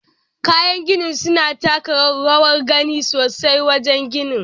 Kayan gini suna taka rawar gani sosai wajen gini.